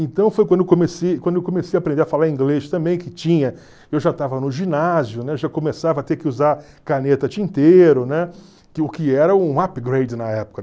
Então foi quando eu comecei quando eu comecei a aprender a falar inglês também, que tinha eu já estava no ginásio, né, já começava a ter que usar caneta tinteiro, né, que o que era um upgrade na época.